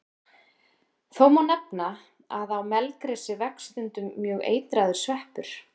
Þó má nefna að á melgresi vex stundum mjög eitraður sveppur.